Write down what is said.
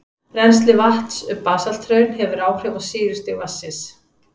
Rennsli vatns um basalthraun hefur áhrif á sýrustig vatnsins.